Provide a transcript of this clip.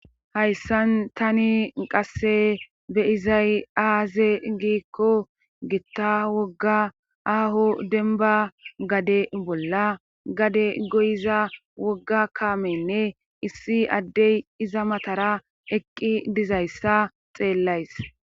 hayssan tani qasse beyizay aaze giikko gitta wogga aaho denba gade bolla gade goyiza wogga kaamenne issi addey iza matara eqqi dizayssa xeellays